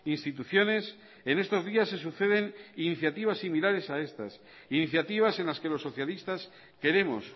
instituciones en estos días se suceden iniciativas similares a estas iniciativas en las que los socialistas queremos